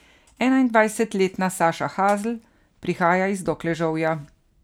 Enaindvajsetletna Saša Hazl prihaja iz Dokležovja.